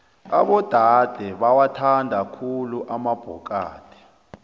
abodade bawathanda khulu amabhokadi